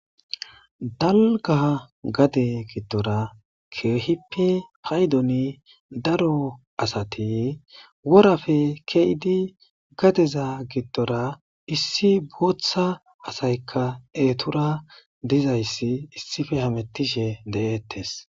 Dalga gade giddora keehippe paydoni daro asati worafe keidi gadeza giddora issi booththa asaykka eetura dizayssi issife hamettishe de7ettes